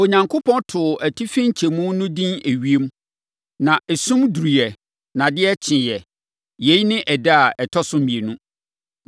Onyankopɔn too atifi nkyɛmu no edin ewiem. Na esum duruiɛ ɛnna adeɛ kyeeɛ; yei ne ɛda a ɛtɔ so mmienu.